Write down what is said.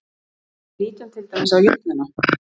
Ef við lítum til dæmis á jöfnuna